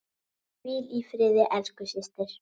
Hvíl í friði elsku systir.